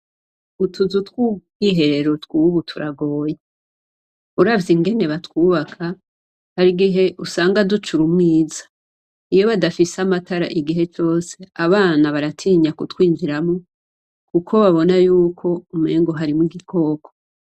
Utuzu tw'ubwiherero tw'ubu turagoye, uravye ingene batwubaka hari igihe usanga ducura umwiza. Iyo badafise amatara igihe cose, abana baratinya kutwinjiramwo kuko babona yuko umengo harimwo igikoko.